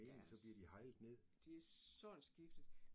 Der er det sådan skiftet